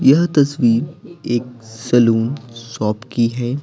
यह तस्वीर एक सलून शॉप की है।